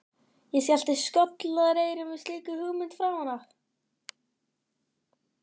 Ég skellti skollaeyrum við slíkum hugmyndum framan af.